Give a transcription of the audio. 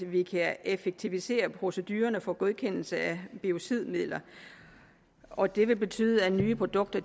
vi kan effektivisere procedurerne for godkendelse af biocidmidler og det vil betyde at nye produkter